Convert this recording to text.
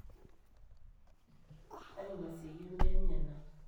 aingasieyie imbaa enyenak